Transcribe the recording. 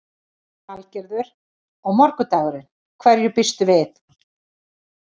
Lillý Valgerður: Og morgundagurinn, hverju býstu við?